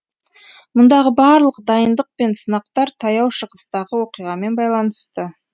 мұндағы барлық дайындық пен сынақтар таяу шығыстағы оқиғамен байланысты